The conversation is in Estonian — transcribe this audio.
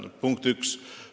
See on punkt üks.